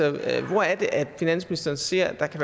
at at finansministeren ser at der kan